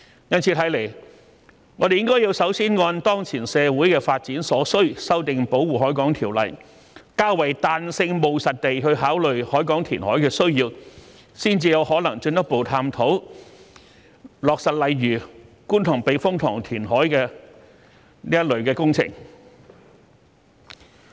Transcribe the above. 由此可見，我們應首先按當前社會的發展所需修訂《條例》，較為彈性務實地考慮海港填海的需要，才有可能進一步探討落實類似觀塘避風塘填海這一類的工程。